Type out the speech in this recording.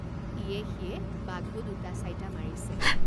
ইয়ে সিয়ে বাঘো দুটাচাইটা মাৰিছে।